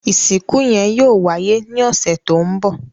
Ìsìnkú yẹn yóò wáyé ní ọ̀sẹ̀ tó ń bọ̀.